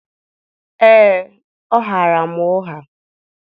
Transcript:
ee, ọ ghaara m ụgha.